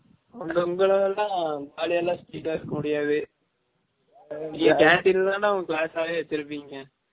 உங்க உங்க level லாம் jolly யா லாம் சுத்திடே இருக்க முடியாது நீங்க canteen தான் டா உங்க class ஆஹ்வே வச்சு இருபீங்க